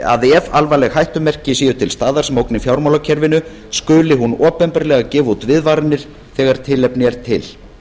að ef alvarleg hættumerki séu til staðar sem ógni fjármálakerfinu skuli hún opinberlega gefa út viðvaranir þegar tilefni er til